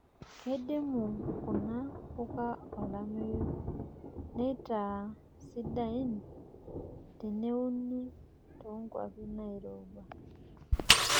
Keidimu kuna puka olameyu neitaa sidain teneuni toonkwapi nairowua.